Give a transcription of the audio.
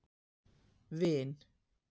Vin